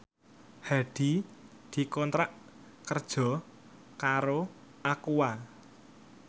Hadi dikontrak kerja karo Aqua